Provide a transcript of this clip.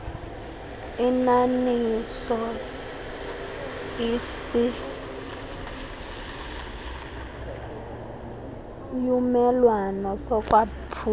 aninaso isiumelwano sokwaphulwa